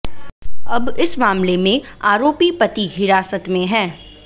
अब इस मामले में आरोपी पति हिरासत में है